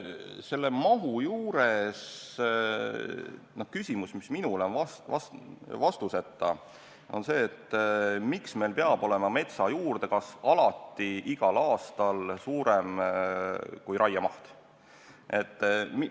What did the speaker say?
Selle mahuga seoses on küsimus, mis minule on jäänud vastuseta, see, et miks meil peab metsa juurdekasv olema alati igal aastal suurem kui raiemaht.